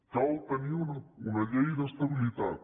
cal tenir una llei d’estabilitat